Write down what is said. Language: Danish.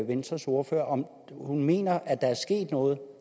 venstres ordfører om hun mener at der er sket noget